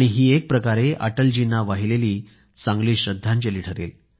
ही एक प्रकारे अटलजींना वाहिलेली श्रद्धांजली ठरेल